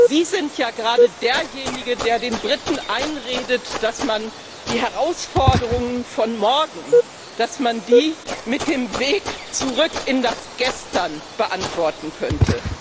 Sie sind ja gerade derjenige, der den Briten einredet, dass man die Herausforderungen von morgen mit dem Weg zurück in das Gestern beantworten könnte.